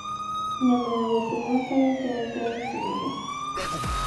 Nyama ya gũchina kana kĩohe kĩa itumbĩ?